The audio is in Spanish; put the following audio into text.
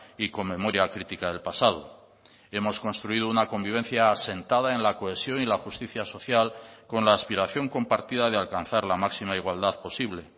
y con memoria crítica del pasado hemos construido una convivencia asentada en la cohesión y la justicia social con la aspiración compartida de alcanzar la máxima igualdad posible